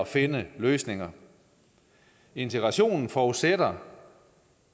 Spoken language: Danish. finde løsninger integrationen forudsætter